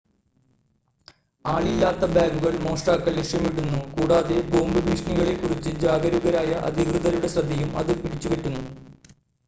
ആളില്ലാത്ത ബാഗുകൾ മോഷ്ടാക്കൾ ലക്ഷ്യമിടുന്നു കൂടാതെ ബോംബ് ഭീഷണികളെ കുറിച്ച് ജാഗരൂകരായ അധികൃതരുടെ ശ്രദ്ധയും അത് പിടിച്ചുപറ്റുന്നു